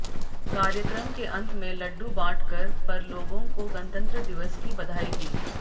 कार्यक्रम के अंत में लड्डू बांटकर पर लोगों को गणतंत्र दिवस की बधाई दी